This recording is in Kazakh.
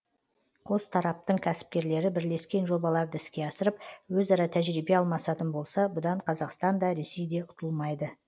қос тараптың кәсіпкерлері бірлескен жобаларды іске асырып өзара тәжірибе алмасатын болса бұдан қазақстан да ресей де ұтылмайды